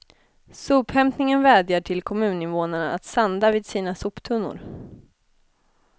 Sophämtningen vädjar till kommuninvånarna att sanda vid sina soptunnor.